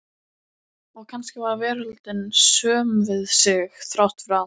Og kannski var veröldin söm við sig, þrátt fyrir allt.